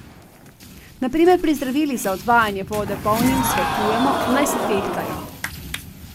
Na primer pri zdravilih za odvajanje vode bolnikom svetujemo, naj se tehtajo.